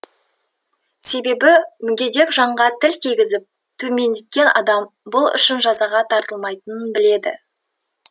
себебі мүгедек жанға тіл тигізіп төмендеткен адам бұл үшін жазаға тартылмайтынын біледі